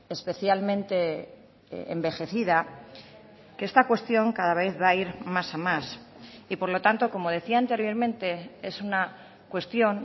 especialmente envejecida que esta cuestión cada vez va a ir más a más y por lo tanto como decía anteriormente es una cuestión